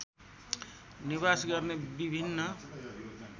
निवास गर्ने विभिन्न